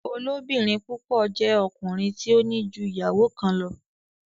Olobirin púpọ jé ọkùnrin tí o ní jú ìyàwó kán lọ.